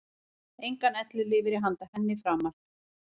Engan ellilífeyri handa henni framar.